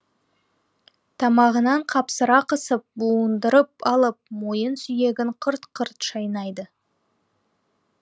тамағынан қапсыра қысып буындырып алып мойын сүйегін қырт қырт шайнайды